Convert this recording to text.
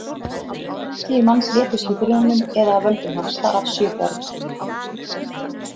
Tíu manns létust í brunanum eða af völdum hans, þar af sjö börn.